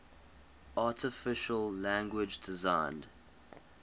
artificial language designed